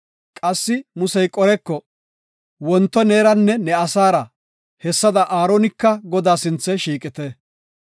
Qassi Musey Qoreko, “Wonto neeranne ne asaara hessada Aaronika Godaa sinthe shiiqite.